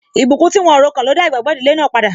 Ìbùkún tí wọ́n o ro kàn ló dá igbagbo ìdílé náà padà.